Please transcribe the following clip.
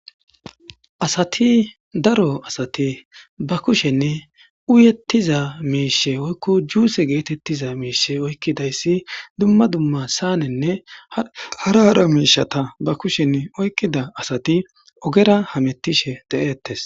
asati daro asati ba kushenne uyettiza miishe oykko juuse geetettiza miishe oykkidayssi dumma dumma saanenne hara hara miishata ba kushenne oykkida asati ogera hamettishe de7eettes